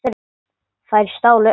Þeir stálu öllu.